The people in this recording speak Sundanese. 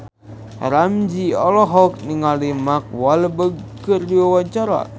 Ramzy olohok ningali Mark Walberg keur diwawancara